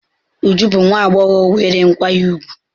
Uju bu nwa agbogho nwere nkwanye ugwu.